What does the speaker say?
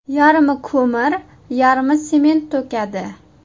Yarmi ko‘mir, yarmi sement to‘kadi”.